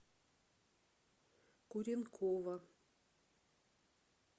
куренкова